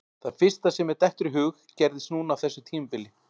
Það fyrsta sem mér dettur í hug gerðist núna á þessu tímabili.